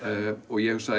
ég hugsaði